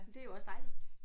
Men det er jo også dejligt